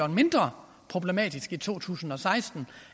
mindre problematisk i to tusind og seksten